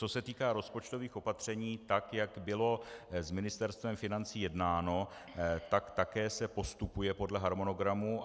Co se týká rozpočtových opatření tak, jak bylo s Ministerstvem financí jednáno, tak také se postupuje podle harmonogramu.